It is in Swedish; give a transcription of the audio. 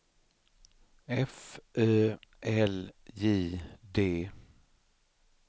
F Ö L J D